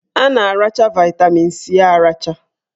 A na-aracha vaịtamin C aracha